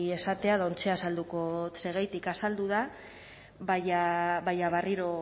esatea eta oraintxe azalduko dot zergatik azaldu da baina barriro